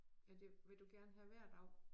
Er det vil du gerne have hver dag